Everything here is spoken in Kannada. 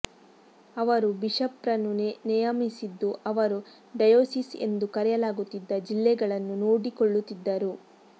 ಅವರು ಬಿಷಪ್ರನ್ನು ನೆಯಮಿಸಿದ್ದು ಅವರು ಡಯೊಸಿಸ್ ಎಂದು ಕರೆಯಲಾಗುತ್ತಿದ್ದ ಜಿಲ್ಲೆಗಳನ್ನು ನೋಡಿಕೊಳ್ಳುತ್ತಿದ್ದರು